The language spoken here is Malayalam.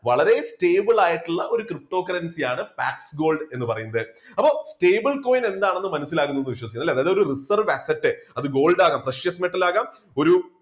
വളരെ stable ആയിട്ടുള്ള ഒരു ptocurrency യാണ് black gold എന്ന് പറയുന്നത്. അപ്പോ stable coin എന്താണെന്ന് മനസ്സിലാകുന്നു എന്ന് വിശ്വസിക്കുന്നു. ഒരു reserve asset അത് gold ആകാം, sperious metal ആകാം,